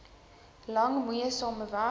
lang moeisame weg